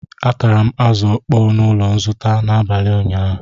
Atara m Azu okpoo n'ulo nzute n'abali nyaa